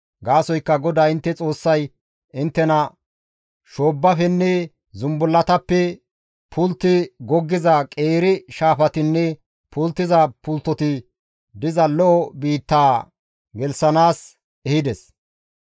Gaasoykka GODAA intte Xoossay inttena shoobbafenne zumbullatappe pultti goggiza qeeri shaafatinne pulttiza pulttoti diza lo7o biittaa gelththanaas ehides.